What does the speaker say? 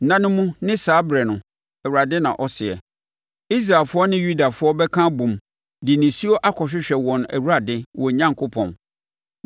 “Nna no mu ne saa ɛberɛ no,” Awurade na ɔseɛ, “Israelfoɔ ne Yudafoɔ bɛka abom de nisuo akɔhwehwɛ wɔn Awurade, wɔn Onyankopɔn.